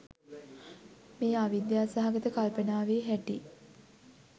මේ අවිද්‍යා සහගත කල්පනාවෙ හැටි.